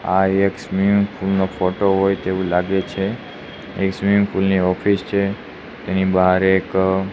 આ એક swimming pool નો ફોટો હોઈ તેવુ લાગે છે એક સ્વિમિંગ પુલ ની ઓફિસ છે તેની બહાર એક--